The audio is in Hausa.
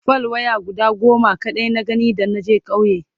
fal waya guda goma kaɗai na gani da naje ƙauye